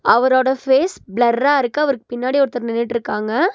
அவரோட ஃபேஸ் பிளர்ரா இருக்கு அவருக்கு பின்னாடி ஒருத்தர் நின்னுட்ருக்காங்க.